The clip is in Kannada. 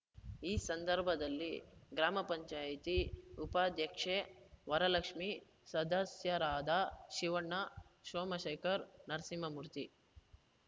ಈ ಸಂದರ್ಭದಲ್ಲಿ ಗ್ರಾಮ ಪಂಚಾಯತಿ ಉಪಾಧ್ಯಕ್ಷೆ ವರಲಕ್ಷ್ಮಿ ಸದಸ್ಯರಾದ ಶಿವಣ್ಣ ಸೋಮಶೇಖರ್ ನರಸಿಂಹಮೂರ್ತಿ